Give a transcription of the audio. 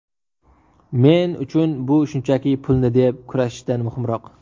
Men uchun bu shunchaki pulni deb kurashishdan muhimroq.